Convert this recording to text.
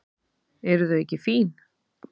Eru þau ekki fín?